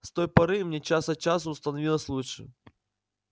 с той поры мне час от часу становилось лучше